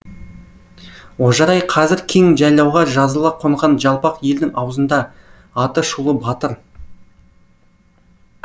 ожырай қазір кең жайлауға жазыла қонған жалпақ елдің аузында аты шулы батыр